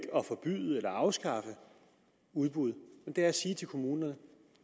at forbyde eller afskaffe udbud men det er at sige til kommunerne